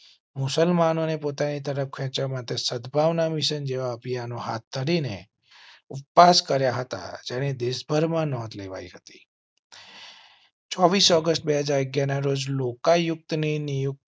મુસલમાનો ને પોતાની તરફ ખેચવા માટે સદ્ ભાવના મિશન જેવા અભિયાનો હાથ ધરી ને ઉપવાસ કર્યા હતા. જેની દેશભર માં નોંધ લેવાઈ હતી. ચોવીસ ઓગસ્ટ બે જાગે ના રોજ લોકાયુક્ત ની નિયુક્તિ ના